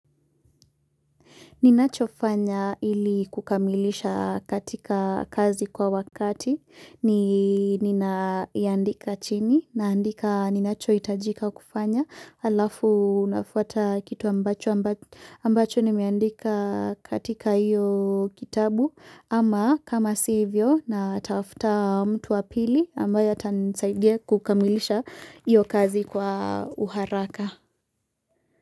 Ninachofanya ili kukamilisha katika kazi kwa wakati, ni ninayandika chini, naandika ninacho hitajika kufanya, alafu nafwata kitu ambacho ambacho ni meandika katika iyo kitabu, ama kama sivyo na tafuta mtu wa pili ambayo ata nisaidia kukamilisha iyo kazi kwa uharaka.